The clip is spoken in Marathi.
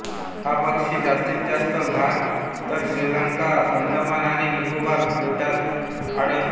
हा पक्षी जास्तीतजास्त भारतश्रीलंकाअंदमान आणि निकोबार बेटांत आढळतो